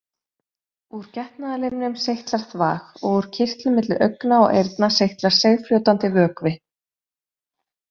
Úr getnaðarlimnum seytlar þvag og úr kirtlum milli augna og eyrna seytlar seigfljótandi vökvi.